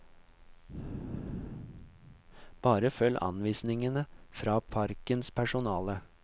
Bare følg anvisningene fra parkens personale.